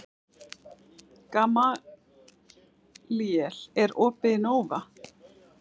Gamalíel, er opið í Nova?